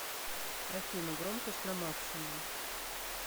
афина громкость на максимум